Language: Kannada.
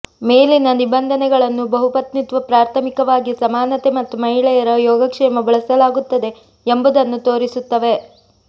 ಮೇಲಿನ ನಿಬಂಧನೆಗಳನ್ನು ಬಹುಪತ್ನಿತ್ವ ಪ್ರಾಥಮಿಕವಾಗಿ ಸಮಾನತೆ ಮತ್ತು ಮಹಿಳೆಯರ ಯೋಗಕ್ಷೇಮ ಬಳಸಲಾಗುತ್ತದೆ ಎಂಬುದನ್ನು ತೋರಿಸುತ್ತವೆ